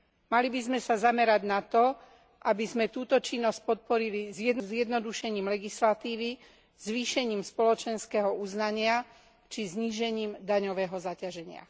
Mali by sme sa zamerať na to, aby sme túto činnosť podporili zjednodušením legislatívy, zvýšením spoločenského uznania či znížením daňového zaťaženia.